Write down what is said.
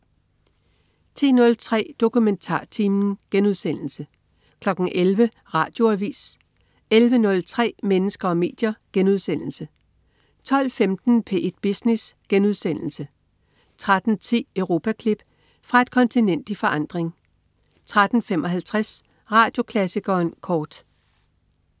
10.03 DokumentarTimen* 11.00 Radioavis 11.03 Mennesker og medier* 12.15 P1 Business* 13.10 Europaklip. Fra et kontinent i forandring 13.55 Radioklassikeren kort